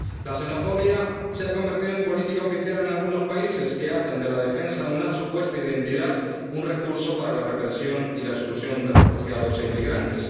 La xenofobia se ha convertido en política oficial en algunos países, que hacen de la defensa de una supuesta identidad un recurso para la represión y la exclusión de refugiados e inmigrantes.